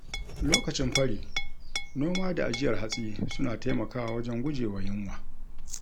Lokacin fari, noma da ajiyar hatsi suna taimakawa wajen gujewa yunwa.